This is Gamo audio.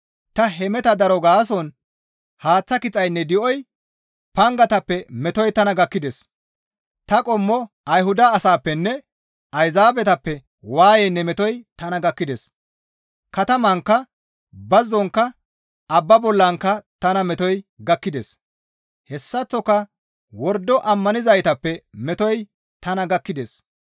Ta hemeta daro gaason haaththa kixaynne di7oy, pangatappe metoy tana gakkides; ta qommo Ayhuda asaappenne Ayzaabetappe waayeynne metoy tana gakkides; katamankka, bazzonkka abba bollankka tana metoy gakkides; hessaththoka wordo ammanizaytappe metoy tana gakkides.